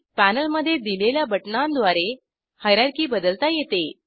पॅनेलमधे दिलेल्या बटणांद्वारे हायरार्की बदलता येते